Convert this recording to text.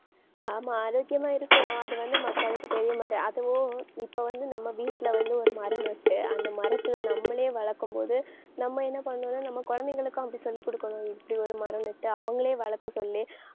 ஆமா ஆரோக்கியமா இருக்கும். அது வந்து மக்களுக்கு தெரிய மாட்டே~ அதுவும் இப்ப வந்து நம்ம வீட்டுல வந்து ஒரு மரம் நட்டு அந்த மரத்துல நம்மளே வளர்க்கும் போது நம்ம என்ன பண்ணணும்னா நம்ம குழந்தைகளுக்கும் அப்படி சொல்லிக்குடுக்கணும். இப்படி ஒரு மரம் நட்டு அவங்களே வளர்க்க சொல்லி